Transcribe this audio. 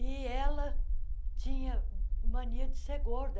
E ela tinha mania de ser gorda.